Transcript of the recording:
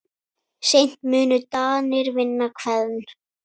Seint munu Danir vinna Hveðn.